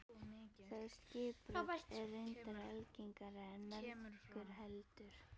Það skipbrot er reyndar algengara en margur heldur.